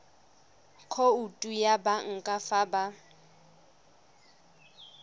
khoutu ya banka fa ba